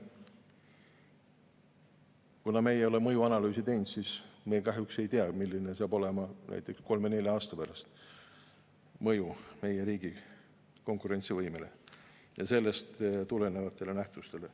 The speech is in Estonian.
Kuna me ei ole mõjuanalüüsi teinud, siis me kahjuks ei tea, milline saab näiteks kolme või nelja aasta pärast olema mõju meie riigi konkurentsivõimele ja sellest tulenevatele nähtustele.